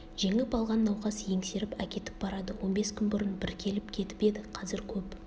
жеңіп алған науқас еңсеріп әкетіп барады он бес күн бұрын бір келіп кетіп еді қазір көп